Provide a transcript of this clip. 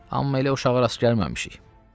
Amma elə uşağa rast gəlməmişik.